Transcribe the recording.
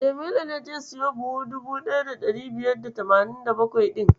Jamilu ne zai siyo buhu 1587 ɗin.